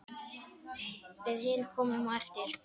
Við hin komum á eftir.